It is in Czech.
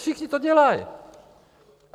Všichni to dělají.